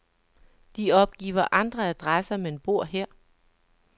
De opgiver andre adresser, men bor her.